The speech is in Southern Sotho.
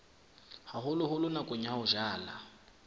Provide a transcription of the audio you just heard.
haholoholo nakong ya ho jala